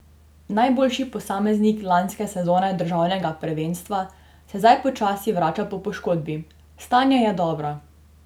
Najboljši posameznik lanske sezone državnega prvenstva se zdaj počasi vrača po poškodbi: "Stanje je dobro.